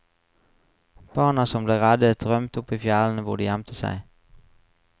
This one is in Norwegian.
Barna som ble reddet rømte opp i fjellene hvor de gjemte seg.